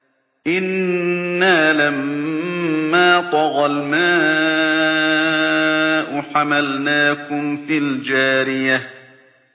إِنَّا لَمَّا طَغَى الْمَاءُ حَمَلْنَاكُمْ فِي الْجَارِيَةِ